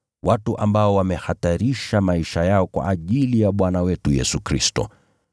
watu ambao wamehatarisha maisha yao kwa ajili ya jina la Bwana wetu Yesu Kristo.